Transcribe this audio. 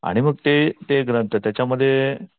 आणि मग ते ते ग्रंथ त्याच्यामध्ये